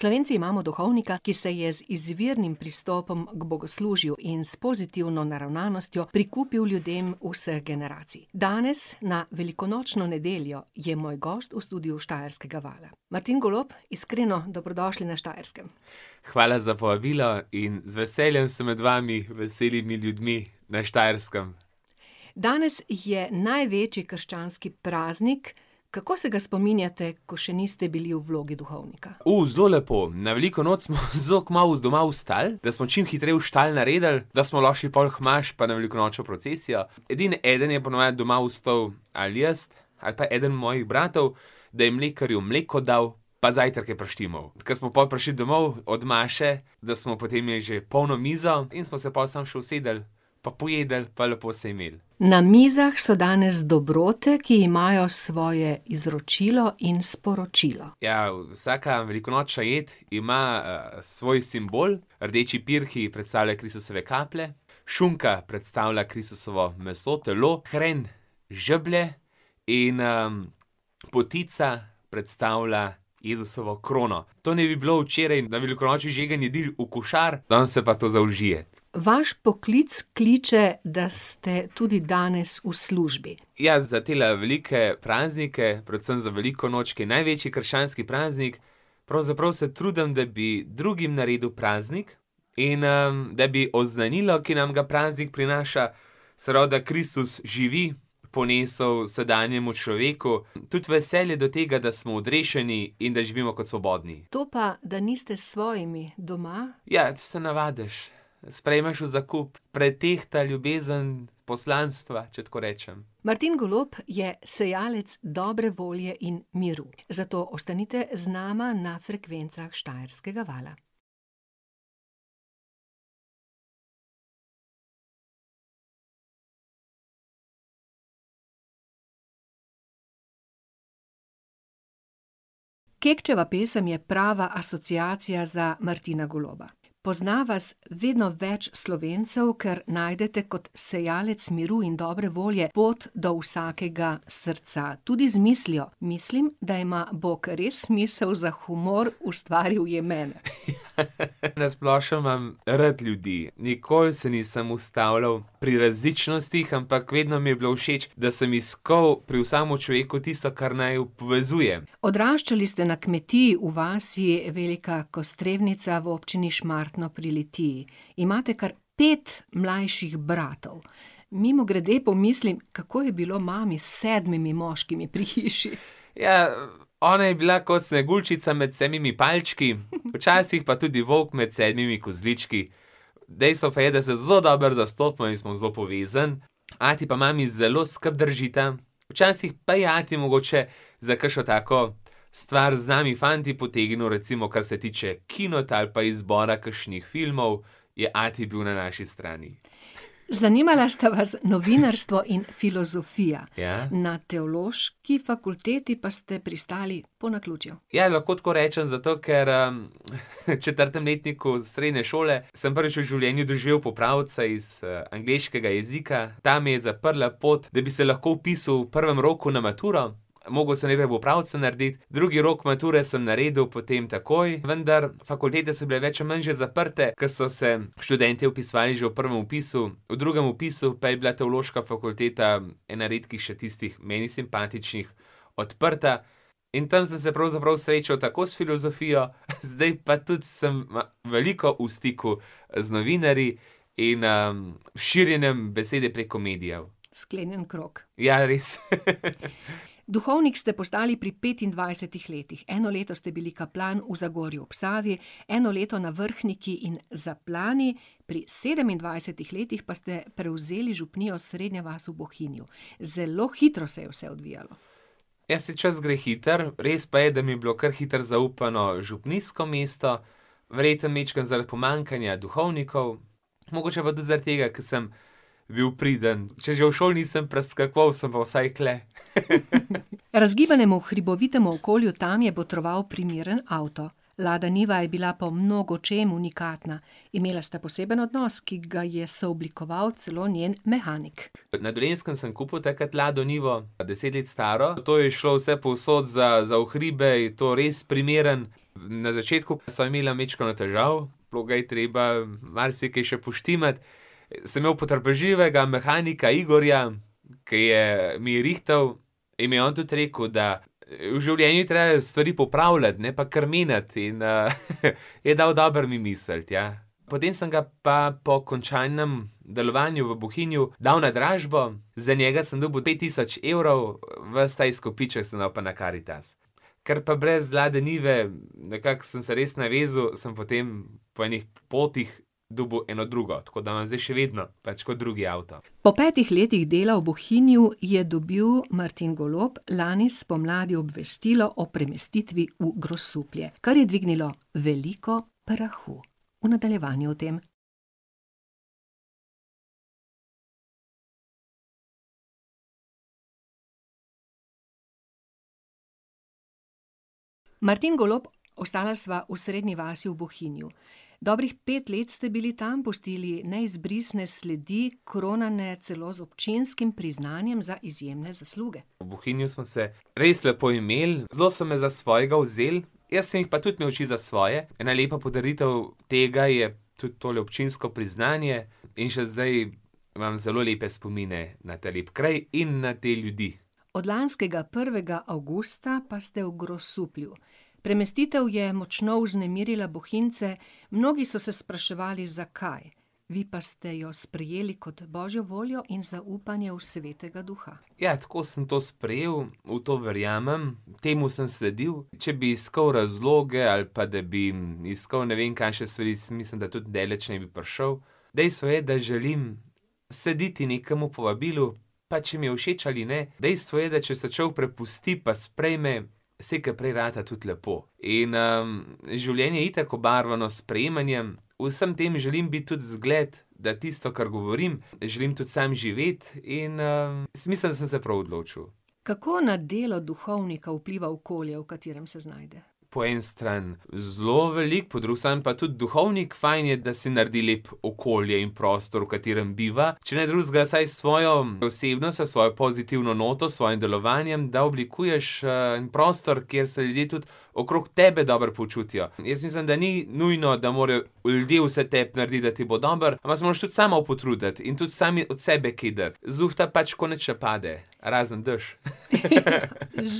Slovenci imamo duhovnika, ki se je z izvirnim pristopom k bogoslužju in s pozitivno naravnanostjo prikupil ljudem vseh generacij. Danes, na velikonočno nedeljo, je moj gost v studiu Štajerskega vala. Martin Golob, iskreno dobrodošli na Štajerskem. Hvala za povabilo in z veseljem sem med vami, veselimi ljudmi, na Štajerskem. Danes je največji krščanski praznik, kako se ga spominjate, ko še niste bili v vlogi duhovnika? zelo lepo. Na veliko noč smo zelo kmalu doma vstali, da smo čim hitreje v štali naredili, da smo lahko šli pol k maši pa na velikonočno procesijo. Edino eden je po navadi doma ostal, ali jaz ali pa eden mojih bratov, da je mlekarju mleko dal, pa zajtrk je prištimal. Ker smo pol prišli domov od maše, da smo potem imeli že polno mizo in smo se pol samo še usedli pa pojedli pa lepo se imeli. Na mizah so danes dobrote, ki imajo svoje izročilo in sporočilo. Ja, vsaka velikonočna jed ima, svoj simbol. Rdeči pirhi predstavljajo Kristusove kaplje. Šunka predstavlja Kristusovo meso, telo, hren žeblje in, potica predstavlja Jezusovo krono. To naj bi bilo včeraj na velikonočni žegen jedi v košari, danes se pa to zaužije. Vaš poklic kliče, da ste tudi danes v službi. Ja, za tele velike praznike, predvsem za veliko noč, ki je največji krščanski praznik. Pravzaprav se trudim, da bi drugim naredil praznik in, da bi oznanilo, ki nam ga praznik prinaša, se pravi, da Kristus živi, ponesel sedanjemu človeku. Tudi veselje do tega, da smo odrešeni in da živimo kot svobodni. To pa, da niste s svojimi doma ... Ja, se navadiš. Sprejmeš v zakup. Pretehta ljubezen poslanstva, če tako rečem. Martin Golob je sejalec dobre volje in miru. Zato ostanite z nama na frekvencah Štajerskega vala. Kekčeva pesem je prava asociacija za Martina Goloba. Pozna vas vedno več Slovencev, ker najdete kot sejalec miru in dobre volje pot do vsakega srca, tudi z mislijo: "Mislim, da ima Bog res smisel za humor, ustvaril je mene." Na splošno imam rad ljudi, nikoli se nisem ustavljal pri različnostih, ampak vedno mi je bilo všeč, da sem iskal pri vsakemu človeku tisto, kar naju povezuje. Odraščali ste na kmetiji v vasi Velika Kostrevnica v občini Šmartno pri Litiji. Imate kar pet mlajših bratov. Mimogrede pomislim, kako je bilo mami s sedmimi moškimi pri hiši? Ja, ona je bila kot Sneguljčica med sedmimi palčki, včasih pa tudi volk med sedmimi kozlički. Dejstvo pa je, da se zelo dobro zastopimo in smo zelo povezani. Ati pa mami zelo skupaj držita, včasih pa je ati mogoče za kakšno tako stvar z nami fanti potegnil, recimo kar se tiče kina ali pa izbora kakšnih filmov, je ati bil na naši strani. Zanimala sta vas novinarstvo in filozofija. Ja. Na Teološki fakulteti pa ste pristali po naključju. Ja, lahko tako rečem, zato ker, v četrtem letniku srednje šole sem prvič v življenju doživel popravca iz, angleškega jezika, ta mi je zaprla pot, da bi se lahko vpisal v prvem roku na maturo. Mogel sem najprej popravca narediti. Drugi rok mature sem naredil potem takoj, vendar fakultete so bile več ali manj že zaprte, ker so se študentje vpisovali že v prvem vpisu. V drugem vpisu pa je bila Teološka fakulteta ena redkih še tistih, meni simpatičnih, odprta, in tam sem se pravzaprav srečal tako s filozofijo, zdaj pa tudi sem veliko v stiku z novinarji in, s širjenjem besede preko medijev. Sklenjen krog. Ja, res. Duhovnik ste postali pri petindvajsetih letih. Eno leto ste bili kaplan v Zagorju ob Savi, eno leto na Vrhniki in Zaplani. Pri sedemindvajsetih letih pa ste prevzeli župnijo Srednja vas v Bohinju. Zelo hitro se je vse odvijalo. Ja, saj čas gre hitro. Res pa je, da mi je bilo kar hitro zaupano župnijsko mesto, verjetno majčkeno zaradi pomanjkanja duhovnikov. Mogoče pa tudi zaradi tega, ker sem bil priden. Če že v šoli nisem preskakoval, sem pa vsaj tule. Razgibanemu hribovitemu okolju tam je botroval primeren avto. Lada Niva je bila po mnogočem unikatna. Imela sta poseben odnos, ki ga je sooblikoval celo njen mehanik. Na Dolenjskem sem kupil takrat Lado Nivo, deset let staro. To je šlo vsepovsod. Za, za v hribe je to res primerno. Na začetku sva imela majčkeno težav. Bilo ga je treba marsikaj še poštimati. Sem imel potrpežljivega mehanika Igorja, ke je, mi je rihtal in mi je on tudi rekel, da, v življenju je treba stvari popravljati, ne pa kar menjati in, ... Je dal dobro mi misliti, ja. Potem sem ga pa po končanem delovanju v Bohinju dal na dražbo. Za njega sem dobil pet tisoč evrov, ves ta izkupiček sem dal pa na Karitas. Ker pa brez Lade Nive, nekako sem se res navezal, sem potem po enih potih dobil eno drugo. Tako da imam zdaj še vedno, pač kot drugi avto. Pol petih letih dela v Bohinju je dobil Martin Golob lani spomladi obvestilo o premestitvi v Grosuplje, kar je dvignilo veliko prahu. V nadaljevanju o tem. Martin Golob, ostala sva v Srednji vasi v Bohinju. Dobrih pet let ste bili tam, pustili neizbrisne sledi, kronane celo z občinskim priznanjem za izjemne zasluge. V Bohinju smo se res lepo imeli. Zelo so me za svojega vzeli. Jaz sem jih pa tudi imel čisto za svoje. Ena lepa podaritev tega je tudi tole občinsko priznanje. In še zdaj imam zelo lepe spomine na ta lepi kraj in na te ljudi. Od lanskega prvega avgusta pa ste v Grosuplju. Premestitev je močno vznemirila Bohinjce, mnogi so se spraševali, zakaj? Vi pa ste jo sprejeli kot Božjo voljo in zaupanje v Svetega duha. Ja, tako sem to sprejel. V to verjamem. Temu sem sledil. Če bi iskal razloge ali pa da mi, iskal ne vem kakšne stvari, saj mislim, da tudi daleč ne bi prišel. Dejstvo je, da želim slediti nekemu povabilu, pa če mi je všeč ali ne. Dejstvo je, da če se človek prepusti pa sprejme, slej ko prej rata tudi lepo. In, življenje je itak obarvano s sprejemanjem. V vsem tem želim biti tudi zgled, da tisto, kar govorim, želim tudi sam živeti in, jaz mislim, da sem se prav odločil. Kako na delo duhovnika vpliva okolje, v katerem se znajde? Po eni strani zelo veliko, po drugi strani pa tudi duhovnik, fajn je, da si naredi lepo okolje in prostor, v katerem biva. Če ne drugega, vsaj s svojo osebnostjo, s svojo pozitivno noto, s svojim delovanjem, da oblikuješ, en prostor, kjer se ljudje tudi okrog tebe dobro počutijo. Jaz mislim, da ni nujno, da morajo ljudje vse tebi narediti, da ti bo dobro. Ampak se moraš tudi sam malo potruditi in tudi sam od sebe kaj dati. Z lufta pač tako nič ne pade. Razen dež.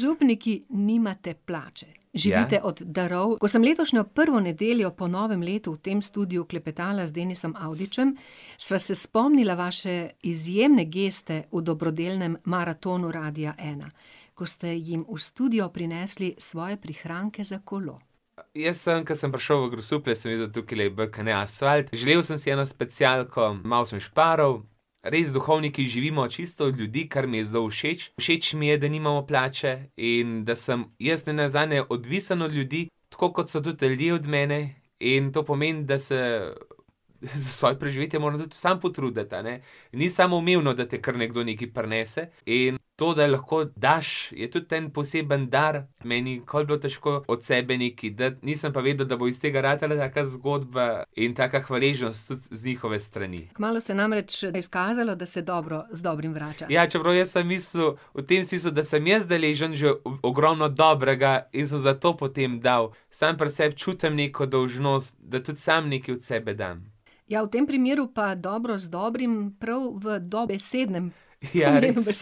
Župniki nimate plače. Ja. Živite od darov. Ko sem letošnjo prvo nedeljo po novem letu v tem studiu klepetala z Denisom Avdićem, sva se spomnila vaše izjemne geste v dobrodelnem maratonu Radia ena, ko ste jim v studio prinesli svoje prihranke za kolo. Jaz sem, ke sem prišel v Grosuplje, sem videl, tukajle je bolj kot ne asfalt. Želel sem si eno specialko. Malo sem šparal. Res, duhovniki živimo čisto od ljudi, kar mi je zelo všeč. Všeč mi je, da nimamo plače in da sem jaz nenazadnje odvisen od ljudi, tako kot so tudi ljudje od mene. In to pomeni, da se za svoje preživetje moram tudi sam potruditi, a ne. Ni samoumevno, da ti kar nekdo nekaj prinese in to, da lahko daš, je tudi en poseben dar. Meni ni nikoli bilo težko od sebe nekaj dati. Nisem pa vedel, da bo iz tega ratala taka zgodba in taka hvaležnost tudi z njihove strani. Kmalu se je namreč izkazalo, da se dobro z dobrim vrača. Ja, čeprav jaz sem mislil, v tem smislu, da sem jaz deležen že ogromno dobrega in sem zato potem dal, sam pri sebi čutim neko dolžnost, da tudi sam nekaj od sebe dam. Ja, v tem primeru pa dobro z dobrim prav v dobesednem ... Ja, res,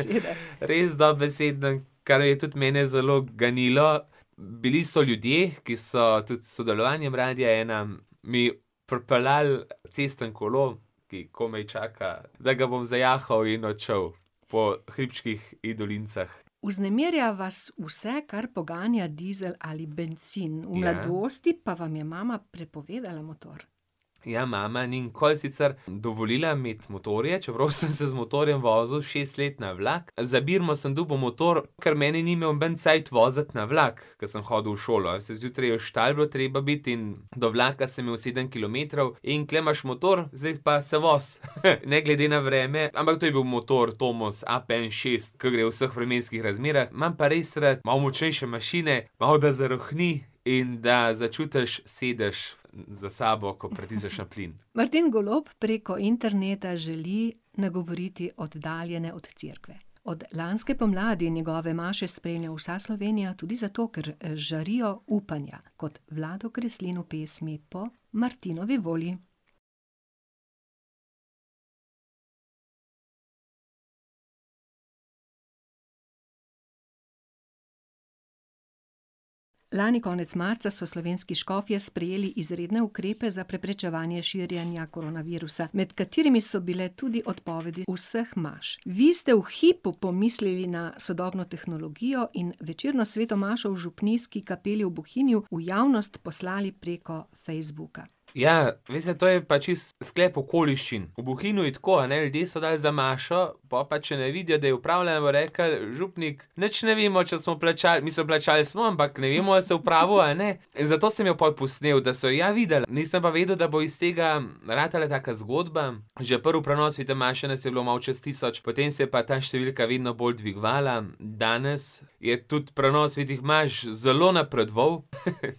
res dobesednem. Kar je tudi mene zelo ganilo, bili so ljudje, ki so tudi s sodelovanjem Radia ena, mi pripeljali cestno kolo, ki komaj čaka, da ga bom zajahal in odšel po hribčkih in dolinicah. Vznemirja vas vse, kar poganja dizel ali bencin. V mladosti pa vam je mama prepovedala motor. Ja, mama ni nikoli sicer dovolila imeti motorje, čeprav sem se z motorjem vozil šest let na vlak. Za birmo sem dobil motor, ker mene ni imel noben cajt voziti na vlak, ke sem hodil v šolo. Saj zjutraj je v štali bilo treba biti in do vlaka sem imel sedem kilometrov in tule imaš motor. Zdaj pa se vozi. Ne glede na vreme, ampak to je bil motor Tomos APN šest, ke gre v vseh vremenskih razmerah. Imam pa res rad malo močnejše mašine. Malo da zarohni in da začutiš sedež za sabo, ko pritisneš na plin. Martin Golob preko interneta želi nagovoriti oddaljene od cerkve. Od lanske pomladi njegove maše spremlja vsa Slovenija tudi zato, ker žarijo upanja kot Vlado Kreslin v pesmi po Martinovi volji. Lani konec marca so slovenski škofje sprejeli izredne ukrepe za preprečevanje širjenja koronavirusa, med katerimi so bile tudi odpovedi vseh imaš. Vi ste v hipu pomislili na sodobno tehnologijo in večerno sveto mašo v župnijski kapeli v Bohinju v javnost poslali preko Facebooka. Ja, veste to je pa čisto sklep okoliščin. V Bohinju je tako, a ne, ljudje so dali za mašo, po pa če ne vidijo, da je opravljena, bojo rekli: "Župnik nič ne vemo, če smo plačali, mislim, plačali smo, ampak ne vemo, a ste opravili ali ne. In zato sem jo pol posnel, da so ja videli. Nisem pa vedel, da bo iz tega ratala taka zgodba. Že prvi prenos svete maše nas je bilo malo čez tisoč, potem se je pa ta številka vedno bolj dvigovala. Danes je tudi prenos svetih imaš zelo napredoval,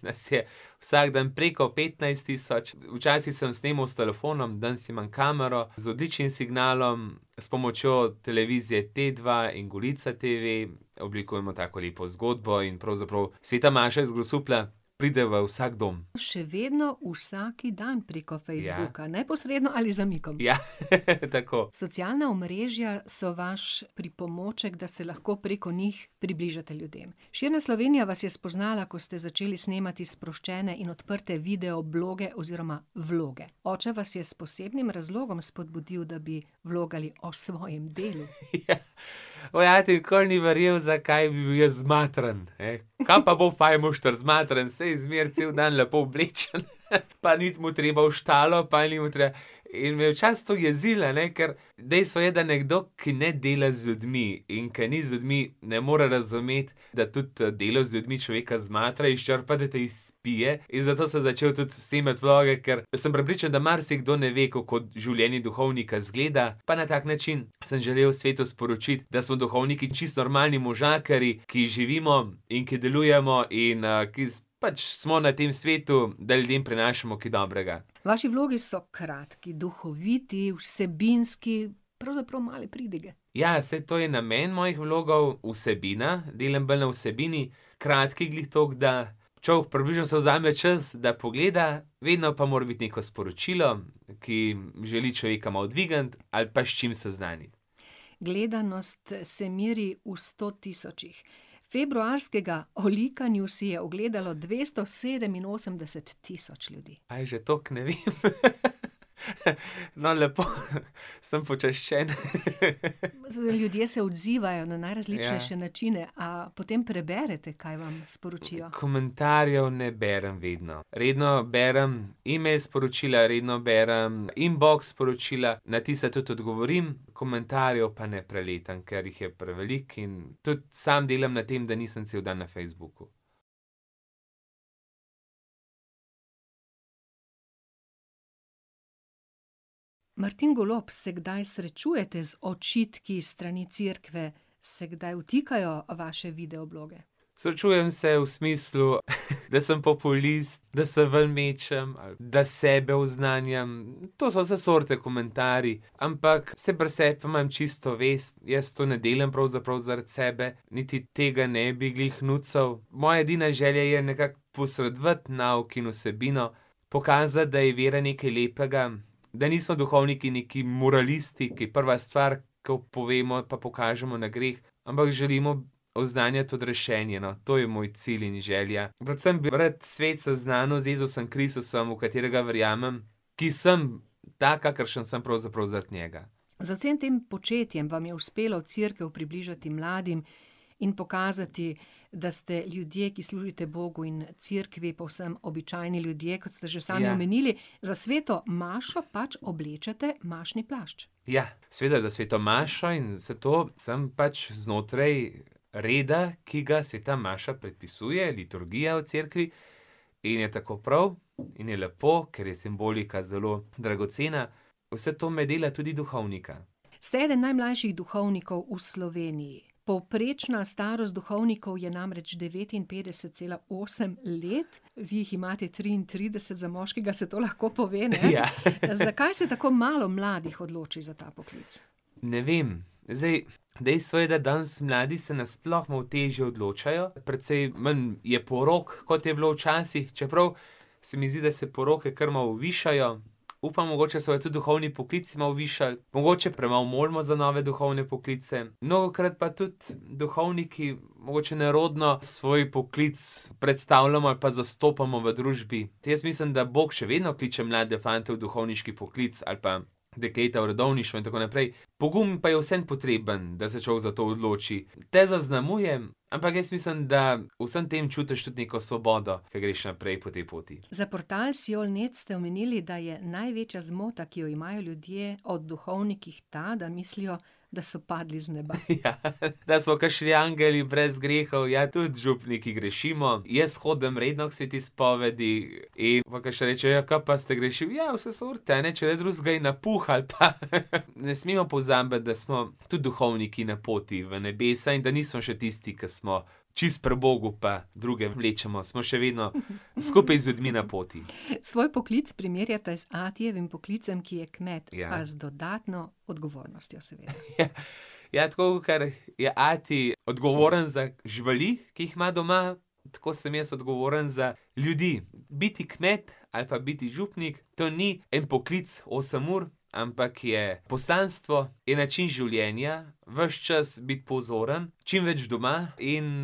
nas je vsak dan preko petnajst tisoč. Včasih sem snemali s telefonom. Danes imam kamero z odličnim signalom. S pomočjo televizije Tedva in Golica TV oblikujemo tako lepo zgodbo in pravzaprav sveta maša iz Grosuplja pride v vsak dom. Še vedno vsak dan preko Facebooka, neposredno ali z zamikom. Ja. Ja , tako. Socialna omrežja so vaš pripomoček, da se lahko preko njih približate ljudem. Širna Slovenija vas je spoznala, ko ste začeli snemati sproščene in odprte video bloge oziroma vloge. Oče vas je s posebnim razlogom spodbudil, da bi vlogali o svojem delu. Ja. Moj ati nikoli ni verjel, zakaj bi bil jaz zmatran, ne. Kaj pa bo fajmošter zmatran. Saj zmeraj cel dan lepo oblečen, pa ni mu treba v štalo, pa ni mu treba ... In me je včasih to jezilo, a ne, ker dejstvo je, da nekdo, ki ne dela z ljudmi in ke ni z ljudmi, ne more razumeti, da tudi delo z ljudmi človeka zmatra, izčrpa, da te izpije, in zato sem začel tudi snemati vloge, ker sem prepričan, da marsikdo ne ve, kako življenje duhovnika izgleda, pa na tak način sem želel svetu sporočiti, da smo duhovniki čisto normalni možakarji, ki živimo in ki delujemo in, ki pač smo na tem svetu, da ljudem prinašamo kaj dobrega. Vaši vlogi so kratki, duhoviti, vsebinski, pravzaprav male pridige. Ja, saj to je namen mojih vlogov: vsebina. Delam bolj na vsebini. Kratki glih toliko, da človek približno si vzame čas, da pogleda. Vedno pa mora biti neko sporočilo, ki želi človeka malo dvigniti ali pa s čim seznaniti. Gledanost se meri v sto tisočih. Februarskega, o likanju, si je ogledalo dvesto sedeminosemdeset tisoč ljudi. A je že toliko? Ne vem. No, lepo. Sem počaščen . Ljudje se odzivajo na najrazličnejše načine. Ja. A potem preberete, kaj vam sporočijo? Komentarjev ne berem vedno. Redno berem email sporočila, redno berem inbox sporočila, na tista tudi odgovorim. Komentarjev pa ne preletam, ker jih je preveliko, in tudi sam delam na tem, da nisem cel dan na Facebooku. Martin Golob, se kdaj srečujete z očitki s strani Cerkve? Se kdaj vtikajo v vaše video bloge? Srečujem se v smislu, da sem populist, da se ven mečem, da sebe oznanjam. To so vse sorte komentarji, ampak saj pri sebi imam čisto vest. Jaz to ne delam pravzaprav zaradi sebe niti tega ne bi glih nucal. Moja edina želja je nekako posredovati nauk in vsebino, pokazati, da je vera nekaj lepega. Da niso duhovniki neki moralisti, ki prva stvar, ke povemo ali pa pokažemo na greh, ampak želimo oznanjati odrešenje, no. To je moj cilj in želja. Predvsem bi rad svet seznanil z Jezusom Kristusom, v katerega verjamem, ki sem tak, kakršen sem, pravzaprav zaradi njega. Z vsem tem početjem, vam je uspelo Cerkev približati mladim in pokazati, da ste ljudje, ki služite Bogu in cerkvi, povsem običajni ljudje, kot ste že sami omenili. Ja. Za sveto mašo pač oblečete mašni plašč. Ja. Seveda, za sveto mašo in vse to sem pač znotraj reda, ki ga sveta maša predpisuje. Liturgija v cerkvi. In je tako prav in je lepo, ker je simbolika zelo dragocena. Vse to me dela tudi duhovnika. Ste eden najmlajših duhovnikov v Sloveniji. Povprečna starost duhovnikov je namreč devetinpetdeset, cela osem let. Vi jih imate triintrideset, za moškega se to lahko pove, ne. Ja. Zakaj se tako malo mladih odloči za ta poklic? Ne vem. Zdaj, dejstvo je, da danes mladi se nasploh malo težje odločajo. Precej manj je porok, kot je bilo včasih, čeprav se mi zdi, da se poroke kar malo višajo. Upam, mogoče se bojo tudi duhovni poklic malo višali. Mogoče premalo molimo za nove duhovne poklice. Mnogokrat pa tudi duhovniki mogoče nerodno svoj poklic predstavljamo ali pa zastopamo v družbi. Tudi jaz mislim, da Bog še vedno kliče mlade fante v duhovniški poklic ali pa dekleta v redovništvo in tako naprej. Pogum pa je vseeno potreben, da se človek za to odloči. Te zaznamuje, ampak jaz mislim, da v vsem tem čutiš tudi neko svobodo, ke greš naprej po tej poti. Za portal Siol net ste omenili, da je največja zmota, ki jo imajo ljudje o duhovnikih, ta, da mislijo da so padli z neba. Ja. Da smo kakšni angeli, brez grehov. Ja, tudi župniki grešimo. Jaz hodim redno k sveti spovedi in pol kakšen reče: "Ja, kaj pa ste grešili?" Ja vse sorte, a ne. Če ne drugega, je napuh ali pa ... Ne smemo pozabiti, da smo tudi duhovniki na poti v nebesa in da nismo še tisti, ki smo čisto pri Bogu pa druge vlečemo, smo še vedno skupaj z ljudmi na poti. Svoj poklic primerjate z atijevim poklicem, ki je kmet, a z dodatno odgovornostjo, seveda. Ja. Ja, tako kakor je ati odgovoren za živali, ki jih ima doma, tako sem jaz odgovoren za ljudi. Biti kmet ali pa biti župnik, to ni en poklic osem ur, ampak je poslanstvo, je način življenja. Ves čas biti pozoren, čim več doma in,